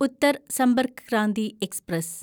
Uttar Sampark Kranti express